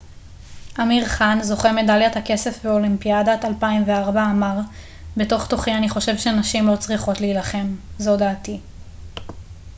אמיר חאן זוכה מדליית הכסף באולימפיאדת 2004 אמר בתוך תוכי אני חושב שנשים לא צריכות להילחם זו דעתי